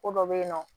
Ko dɔ bɛ yen nɔ